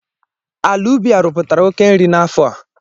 Ala ubi a rụpụtara oke nri n'afọ a